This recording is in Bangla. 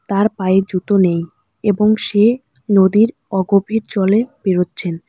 তার পায়ে জুতো নেই এবং সে নদীর অগভীর জলে পেরোচ্ছেন।